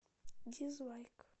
дизлайк